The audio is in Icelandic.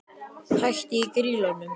Hætt í Grýlunum?